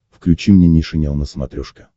включи мне нейшенел на смотрешке